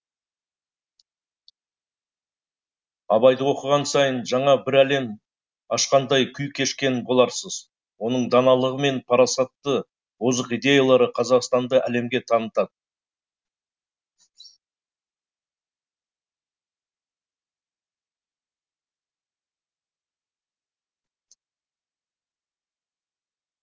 абайды оқыған сайын жаңа бір әлем ашқандай күй кешкен боларсыз оның даналығы мен парасаты озық идеялары қазақстанды әлемге танытады